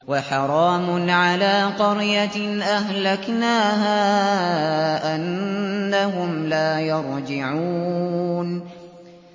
وَحَرَامٌ عَلَىٰ قَرْيَةٍ أَهْلَكْنَاهَا أَنَّهُمْ لَا يَرْجِعُونَ